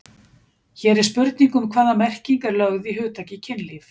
Hér er spurning um hvaða merking er lögð í hugtakið kynlíf.